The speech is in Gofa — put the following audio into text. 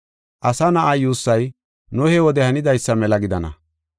Asa Na7aa yuussay, Nohe wode hanidaysa mela gidana.